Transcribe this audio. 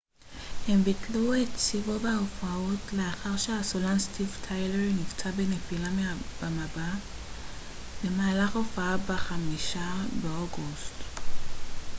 הם ביטלו את סיבוב ההופעות לאחר שהסולן סטיבן טיילר נפצע בנפילה מהבמה במהלך הופעה ב-5 באוגוסט